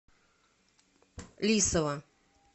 лисова